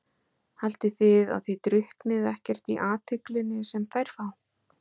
Haldið þið að þið drukknið ekkert í athyglinni sem þær fá?